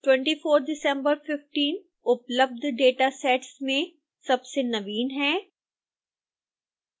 24 december 15 उपलब्ध datasets में सबसे नवीन है